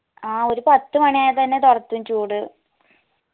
ആ ഒരു പത്തുമണിയായ തെന്നെ തൊടത്തും ചൂട്